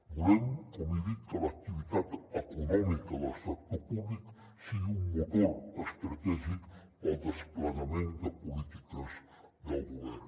volem com he dit que l’activitat econòmica del sector públic sigui un motor estratègic per al desplegament de polítiques del govern